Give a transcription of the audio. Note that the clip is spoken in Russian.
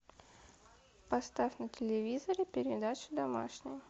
поставь на телевизоре передачу домашний